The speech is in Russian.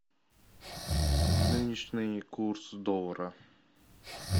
нынешний курс доллара